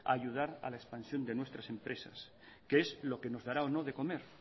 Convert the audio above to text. a ayudar a la expansión de nuestras empresas que es lo que nos dará o no de comer